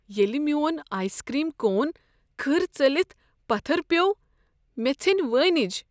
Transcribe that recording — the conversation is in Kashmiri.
ییٚلہ میون آیسکریم کون کھٕر ژٔلتھ پتھر پیوٚو مےٚ ژھیٚنۍ وٲنج۔